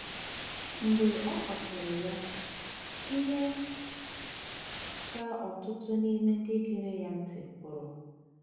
Mgbe ọ kọsịrị ya, ihe ka ọtụtụ n’ime ndị gere ya ntị pụrụ.